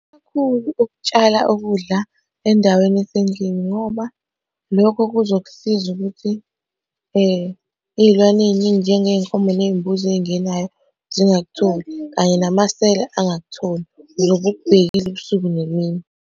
Ukutshala ukudla endaweni esendlini ngoba lokho kuzokusiza ukuthi ey'lwaneni ey'njengey'komo ney'mbuzi ey'ngenayo zingakutholi, kanye namasela angakutholi uzobe ukubhekile ubusuku nemini.